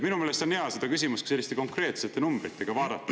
Minu meelest on hea seda küsimust selliste konkreetsete numbritega vaadata.